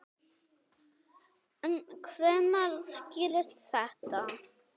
En hvenær skýrist þetta?